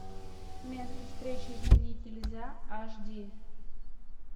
место встречи изменить нельзя аш ди